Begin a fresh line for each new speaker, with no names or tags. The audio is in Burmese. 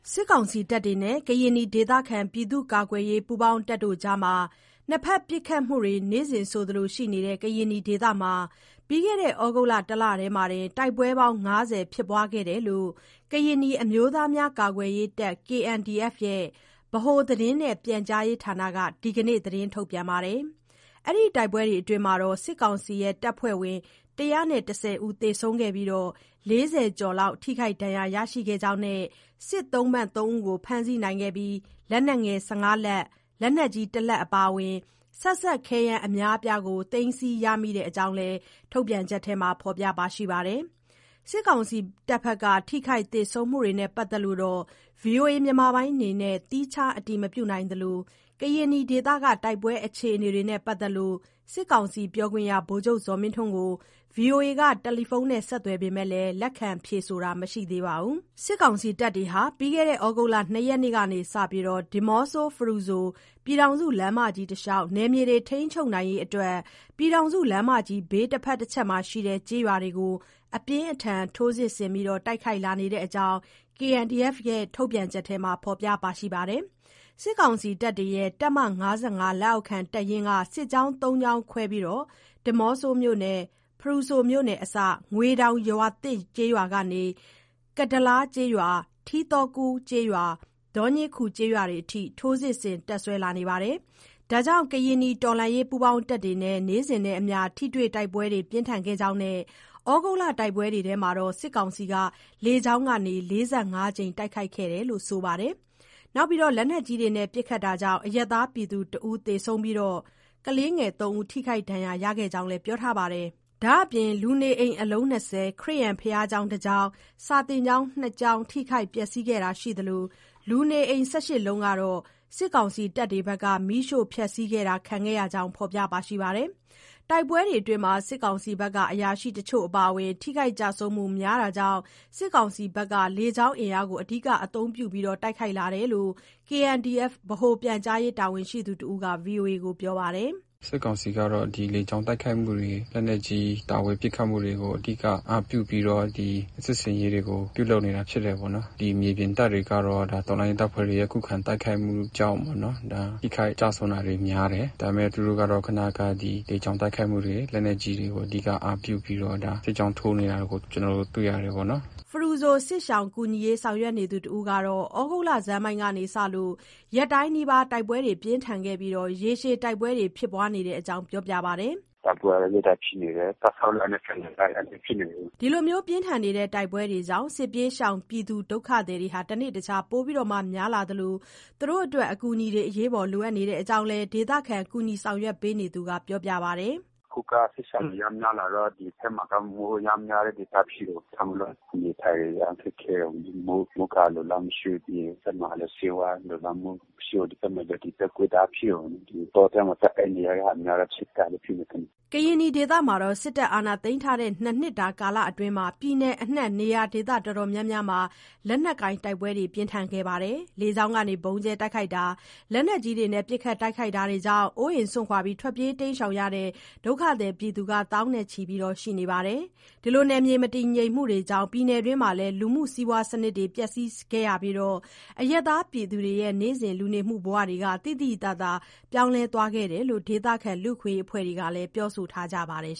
စစ်ကောင်စီတပ်တွေနဲ့ ကရင်နီ ဒေသခံကာကွယ်ရေး ပူးပေါင်းတပ်တွေအကြား နှစ်ဘက် ပစ်ခတ်မှုတွေ နေ့စဉ်ဆိုသလို ရှိနေတဲ့ ကရင်နီဒေသမှာ ပြီးခဲ့တဲ့ သြဂုတ်လ တလတည်းမှာတင် တိုက်ပွဲပေါင်း ၅၀ ဖြစ်ခဲ့တဲ့အကြောင်း ကရင်နီ အမျိုးသားများ ကာကွယ်ရေးတပ် ရဲ့ ဗဟိုသတင်းနဲ့ ပြန်ကြားရေးဌာနက ဒီကနေ့ ထုတ်ပြန်ပါတယ်။ ဒီတိုက်ပွဲတွေအတွင်းမှာ စစ်ကောင်စီတပ်ဖွဲ့ဝင် ၁၁၀ ဦး သေဆုံးခဲ့ပြီး၊ ၄၀ ကျော်လောက် ထိခိုက်ဒဏ်ရာ ရရှိကြောင်းနဲ့ စစ်သုံ့ပန်း ၃ ဦးကို ဖမ်းဆီးနိုင်ခဲ့ပြီး လက်နက်ငယ် ၁၅ လက်၊ လက်နက်ကြီး ၁ လက် အပါအဝင် ဆက်စပ်ခဲယမ်း အများအပြား သိမ်းဆည်းရမိတဲ့အကြောင်းလည်း ဖော်ပြထားပါတယ်။ စစ်ကောင်စီတပ်ဘက်က ထိခိုက်သေဆုံးမှုတွေနဲ့ ပတ်သက်လို့ ဗွီအိုအေအနေနဲ့ သီးခြား အတည်မပြုနိုင်သလို၊ ကရင်နီဒေသ တိုက်ပွဲ အခြေအနေတွေနဲ့ ပတ်သက်လို့ စစ်ကောင်စီ ပြောခွင့်ရ ဗိုလ်ချုပ်ဇော်မင်းထွန်းကို ဗွီအိုအေက တယ်လီဖုန်းနဲ့ ဆက်သွယ်ပေမဲ့ လက်ခံဖြေဆိုတာ မရှိသေးပါဘူး။ စစ်ကောင်စီတပ်တွေဟာ ပြီးခဲ့တဲ့ ဩဂုတ်လ ၂ ရက်နေ့က စတင်ပြီး ဒီးမော့ဆို-ဖရူဆို ပြည်ထောင်စုလမ်းမကြီး တလျှောက် နယ်မြေတွေ ထိန်းချုပ်နိုင်ရေးအတွက် ပြည်ထောင်စု လမ်းမကြီးဘေး တဘက်တချက်မှာရှိတဲ့ ကျေးရွာတွေကို အပြင်းအထန် ထိုးစစ်ဆင် တိုက်ခိုက်လာနေတဲ့အကြောင်း KNDF ထုတ်ပြန်ချက်က ဖော်ပြပါတယ်။ စစ်ကောင်စီတပ်တွေရဲ့ တပ်မ လက်အောက်ခံ တပ်ရင်းက စစ်ကြောင်းသုံးကြောင်းခွဲပြီး ဒီးမော့ဆိုမြို့နယ်နဲ့ ဖရူဆိုမြို့နယ်အစ ငွေတောင်ရွာသစ်ကျေးရွာကနေ ကဒါးလားကျေးရွာ၊ ထီးသော်ကူးကျေးရွာ၊ ဒေါညေးခူကျေးရွာတွေအထိ ထိုးစစ်ဆင်တပ်စွဲလာတာကြောင့် ကရင်နီတော်လှန်ရေး ပူးပေါင်းတပ်တွေနဲ့ နေ့စဉ်နဲ့အမျှ ထိတွေ့တိုက်ပွဲ ပြင်းထန်ခဲ့ကြောင်းနဲ့ သြဂုတ်လ တိုက်ပွဲတွေအတွင်း စစ်ကောင်စီက လေကြောင်းကနေ ၄၅ ကြိမ် တိုက်ခိုက်ခဲ့သလို၊ လက်နက်ကြီးနဲ့ ပစ်ခတ်တာတွေကြောင့် အရပ်သားပြည်သူ ၁ ဦး၊ ကလေးငယ် ၃ ဦး ထိခိုက် ဒဏ်ရာရခဲ့ကြောင်းလည်း ပြောပါတယ်။ ဒါ့အပြင် လူနေအိမ် အလုံး ၂၀၊ ခရစ်ယာန်ဘုရားကျောင်း ၁ ကျောင်းနဲ့ စာသင်ကျောင်း ၂ ကျောင်း ထိခိုက်ပျက်စီးခဲ့တာ ရှိသလို၊ လူနေအိမ် ၁၈ လုံးကတော့ စစ်ကောင်စီတပ်တွေက မီးရှို့ဖျက်ဆီးတာ ခံခဲ့ရတဲ့အကြောင်း ဖော်ပြပါတယ်။ တိုက်ပွဲတွေအတွင်း စစ်ကောင်စီဘက်က အရာရှိတချို့အပါအဝင် ထိခိုက် ကျဆုံးမှု များတာကြောင့် စစ်ကောင်စီဟာ လေကြောင်းအင်အားကို အဓိက အသုံးပြု လာတာဖြစ်တယ်လို့ KNDF ဗဟိုပြန်ကြားရေး တာဝန်ရှိသူတဦးက ဗွီအိုအေကို ပြောပါတယ်။
“စစ်ကောင်စီကတော့ ဒီလေကြောင်းတိုက်ခိုက်မှုတွေ၊ လက်နက်ကြီး တာဝေးပစ်ခတ်မှုတွေကို အဓိက အားပြုပြီးတော့ ဒီစစ်ဆင်ရေးတွေကို ပြုလုပ်နေတာ ဖြစ်တယ်ပေါ့နော်။ ဒီမြေပြင်တပ်တွေကတော့ ဒါ တော်လှန်ရေးတပ်ဖွဲ့တွေရဲ့ ခုခံတိုက်ခိုက်မှုကြောင့် ထိခိုက်ကျရှုံးတာတွေ များတယ်။ ဒါပေမဲ့ သူတို့ကတော့ ခုနက လေကြောင်းတိုက်ခိုက်မှုတွေ လက်နက်ကြီးတွေ အဓိက အားပြုပြီးတော့ ဒါစစ်ကြောင်းထိုးနေတာ ကျနော်တို့ တွေ့ရတယ်ပေါ့နော်။
” ဖရူဆို စစ်ရှောင်ကူညီရေး ဆောင်ရွက်နေသူတဦးကတော့ သြဂုတ် လဆန်းပိုင်းကစလို့ ရက်တိုင်းနီးပါး တိုက်ပွဲ ပြင်းထန်ခဲ့ပြီး ရက်ရှည် တိုက်ပွဲတွေ ဖြစ်နေတဲ့အကြောင်း ပြောပြပါတယ်
။ “တိုက်ပွဲက ရက်တိုင်းဖြစ်နေတယ်။ တပ်ဆုတ်လိုက်နဲ့ ပြန်လာလိုက် အဲ့
လိုမျိုး ဖြစ်နေတယ်။” ဒီလို တိုက်ပွဲတွေကြောင့် စစ်ပြေးဒုက္ခသည်တွေ တနေ့တခြား ပိုများလာသလို အကူအညီတွေ လိုအပ်နေတဲ့အကြောင်းလည်း ဒေသခံ ကူညီရေး ဆောင်ရွက်နေသူက ပြောပါတယ်။
“အခုက စစ်ရှောင်တွေ အရမ်းများလာတော့ ဒီဘက်မှာက မိုးအရမ်းများတဲ့အချိန် ဖြစ်တယ်။ ဒါကြောင့်မို့လို့ နေထိုင်ရေး အရမ်းခက်ခဲတယ်။ မိုးကာ အလုံအလောက် မရှိဘူး။ ပြီးရင် ဒီဘက်မှာလည်း ဆေးဝါးလုံလောက်မှု မရှိဘူး။ ဒီဘက်မှာကျ တုပ်ကွေး တအားဖြစ်တယ်ပေါ့နော်။ တောထဲမှာ သွားအိပ်နေရတဲ့ ဟာမျိုးများတော့ ခြင်ကိုက်လို့ ဖြစ်မယ်ထင်တယ်
။” ကရင်နီဒေသမှာ စစ်တပ် အာဏာသိမ်းထားတဲ့ ၂ နှစ်တာ ကာလအတွင်း ပြည်နယ်အနှံ့ နေရာဒေသ အတော်များများမှာ လက်နက်ကိုင် တိုက်ပွဲတွေ၊ လေကြောင်းက ဗုံးကြဲတာ၊ လက်နက်ကြီးနဲ့ ပစ်ခတ် တိုက်ခိုက်တာတွေကြောင့် အိုးအိမ်စွန့်ခွာ ထွက်ပြေးရတဲ့ ဒုက္ခသည် သောင်းနဲ့ချီ ရှိနေပါတယ်။ နယ်မြေ မတည်ငြိမ်မှုတွေကြောင့် ပြည်နယ်တွင်း လူမှု စီးပွား စနစ်တွေ ပျက်စီးခဲ့ရပြီး အရပ်သားပြည်သူတွေရဲ့ နေ့စဉ် လူနေမှုဘဝတွေ သိသိသာသာ ပြောင်းလဲသွားခဲ့တယ်လို့ ဒေသခံ လူ့အခွင့်အရေး အဖွဲ့တွေကလည်း ပြောဆိုထားကြပါတယ်